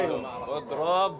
Odrob!